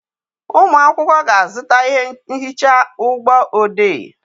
Ụmụ akwụkwọ ga-azụta ihe nhicha ụgbọ odee.